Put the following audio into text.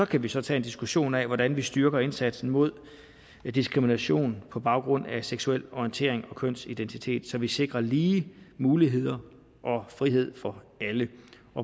kan vi så tage en diskussion af hvordan vi styrker indsatsen mod diskrimination på baggrund af seksuel orientering og kønsidentitet så vi sikrer lige muligheder og frihed for alle